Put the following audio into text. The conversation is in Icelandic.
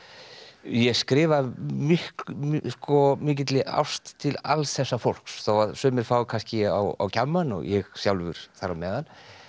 ég skrifa af mikilli ást til alls þessa fólks þó sumir fái kannski á kjammann og ég sjálfur þar á meðal